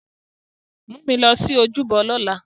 Mu mi lọ si ojúbọ lọla!